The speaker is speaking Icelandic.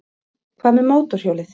Hvað með mótorhjólið?